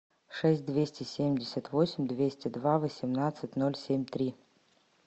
шесть двести семьдесят восемь двести два восемнадцать ноль семь три